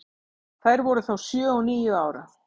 Þær voru þá sjö og níu ára.